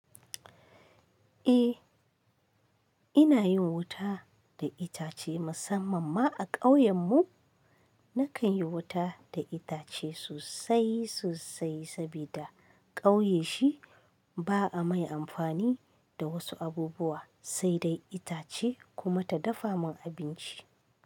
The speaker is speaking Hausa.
Eh, ina yin wuta da itace musamman ma a ƙauyen mu nakan yi wuta da itace sosai sosai saboda ƙauye shi ba a mai amfani da wasu abubuwa sai dai itace kuma ta dafa mun abinci.